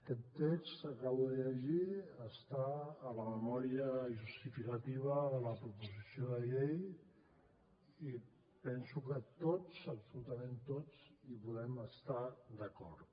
aquest text que acabo de llegir està en la memòria justificativa de la proposició de llei i penso que tots absolutament tots hi podem estar d’acord